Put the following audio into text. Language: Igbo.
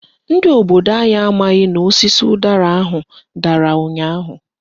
Ndị obodo anyị amaghị n'osisi ụdara ahụ dara ụnyaahụ.